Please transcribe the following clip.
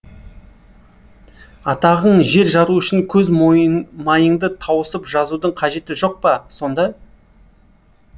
атағың жер жару үшін көз майыңды тауысып жазудың қажеті жоқ па сонда